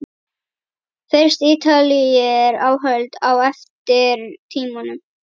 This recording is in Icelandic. Finnst Ítalir öld á eftir tímanum.